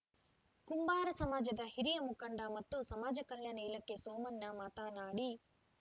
ಕುಂಬಾರ ಸಮಾಜದ ಹಿರಿಯ ಮುಖಂಡ ಮತ್ತು ಸಮಾಜ ಕಲ್ಯಾಣ ಇಲಾಖೆ ಸೋಮಣ್ಣ ಮಾತನಾಡಿ